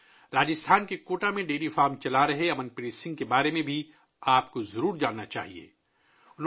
آپ کو امن پریت سنگھ کے بارے میں بھی معلوم ہوگا، جو راجستھان کے کوٹا میں ڈیری فارم چلا رہے ہیں